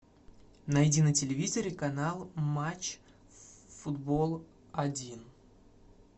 найди на телевизоре канал матч футбол один